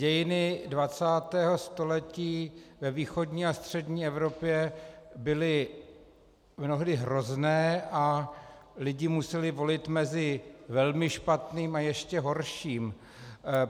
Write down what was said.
Dějiny 20. století ve východní a střední Evropě byly mnohdy hrozné a lidi museli volit mezi velmi špatným a ještě horším.